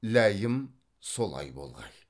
ләйім солай болғай